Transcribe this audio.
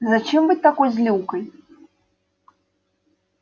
зачем быть такой злюкой